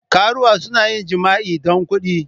Karuwa suna yin jima'i don kuɗi.